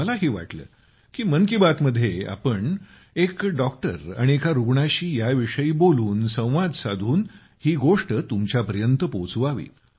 मलाही वाटले की मन की बातमध्ये आपण एक डॉक्टर आणि एका रुग्णाशी याविषयी बोलून संवाद साधून ही गोष्ट तुमच्यापर्यंत पोहोचवावी